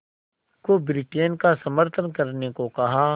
को ब्रिटेन का समर्थन करने को कहा